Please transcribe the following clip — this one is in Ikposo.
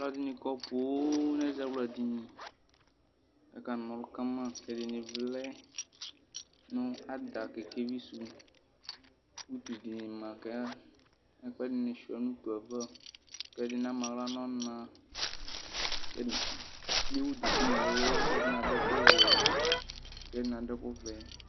Ɔlɔdni kɔ poo nʋ ɛzawla dini kʋ akana ɔlʋ kama ɛdini vlɛ nʋ ada kɛkɛvi sʋ kʋ utu dini ma kʋ ɛkʋɛdini suia nʋ utu yɛ ava kʋ ɛdini ama aɣla nʋ ɔna ewʋ duku nʋ ɛlʋ kʋ ɛdini adʋ ɛkʋvɛ kʋ ɛdini adʋ ɛkʋvɛ